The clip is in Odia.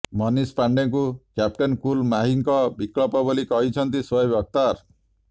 ମନିଷ ପାଣ୍ଡେଙ୍କୁ କ୍ୟାପଟେନ୍ କୁଲ ମାହିଙ୍କ ବିକଳ୍ପ ବୋଲି କହିଛନ୍ତି ସୋଏବ ଅଖତାର